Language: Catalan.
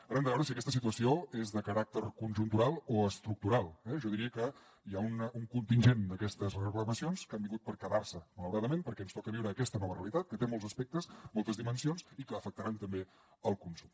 ara hem de veure si aquesta situació és de caràcter conjuntural o estructural eh jo diria que hi ha un contingent d’aquestes reclamacions que han vingut per quedar se malauradament perquè ens toca viure aquesta nova realitat que té molts aspectes moltes dimensions i que afectaran també el consum